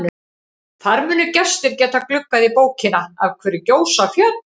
Þar munu gestir geta gluggað í bókina Af hverju gjósa fjöll?